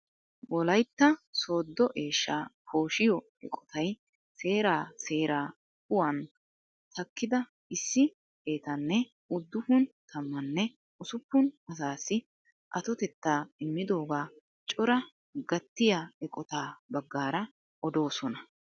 Wolaytta sooddo eeshshaa poshiyoo eqotay seeraa seeraa kuwaan takkida issi xeettanne uduppun tammanne usuppun asaassi atotettaa immidoogaa cora gattiyaa eqottaa baggaara odoosona.